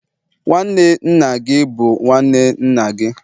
nwanne nna gị bụ nwanne nna gị